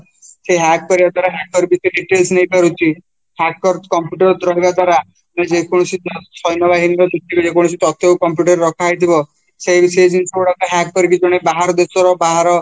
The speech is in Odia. ସେ hack କରିବା ଦ୍ଵାରା hacker details ନେଇପାରୁଛି hacker computer ରହିବା ଦ୍ଵାରା ଯେକୌଣସି ସୈନ ବାହିନୀ ତଥ୍ୟ computer ରେ ରଖାଯାଇଥିବା ସେ ସେ ଜିନିଷ ଗୁଡାକୁ hack କରିକି ଜଣେ ବାହାର ଦେଶର ବାହାର